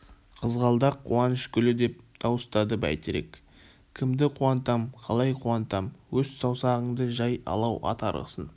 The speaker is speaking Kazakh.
қызғалдақ қуаныш гүлі деп дауыстады бәйтерек кімді қуантам қалай қуантам өс саусағыңды жай алау ат арғысын